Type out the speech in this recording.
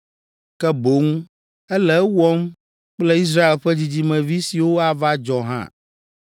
ke boŋ ele ewɔm kple Israel ƒe dzidzimevi siwo ava dzɔ hã.